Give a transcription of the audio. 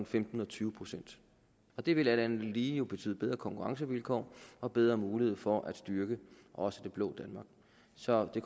femten og tyve procent og det vil alt andet lige jo betyde bedre konkurrencevilkår og bedre mulighed for at styrke også det blå danmark så det